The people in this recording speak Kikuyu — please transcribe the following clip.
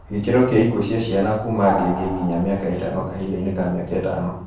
Gĩkĩro kĩa ikuũ cia ciana kuuma ngenge nginya mĩaka ĩtano kahinda inĩ ka mĩaka ĩtano